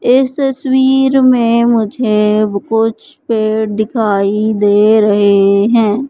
इस तस्वीर में मुझे कुछ पेड़ दिखाई दे रहे है।